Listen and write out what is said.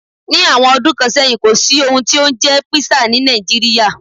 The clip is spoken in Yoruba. Ní àwọn ọdún kan sẹ́yìn, kò sí ohun tí ó jẹ́ Písà ní Nàìjíríà.